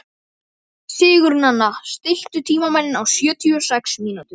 Sigurnanna, stilltu tímamælinn á sjötíu og sex mínútur.